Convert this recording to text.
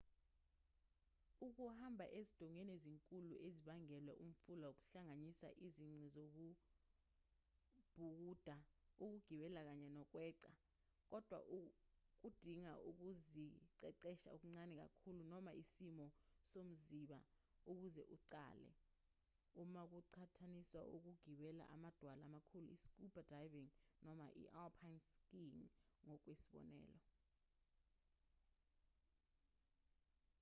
ukuhamba ezindongeni ezinkulu ezibangelwe umfula kuhlanganisa izici zokubhukuda ukugibela kanye nokweqa-- kodwa kudinga ukuziqeqesha okuncane kakhulu noma isimo somziba ukuze uqale uma kuqhathaniswa nokugibela amadwala amakhulu i-scuba diving noma i-alpine skiing ngokwesibonelo